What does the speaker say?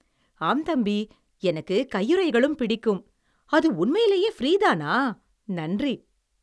ஆம் தம்பி, எனக்கு கையுறைகளும் பிடிக்கும் அது உண்மையிலேயே ஃபிரீதானா? நன்றி!